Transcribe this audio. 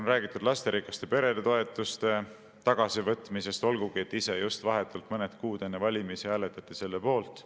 On räägitud lasterikaste perede toetuste tagasivõtmisest, olgugi et ise vahetult mõned kuud enne valimisi hääletati selle poolt.